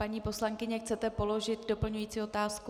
Paní poslankyně, chcete položit doplňující otázku?